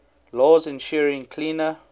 laws ensuring cleaner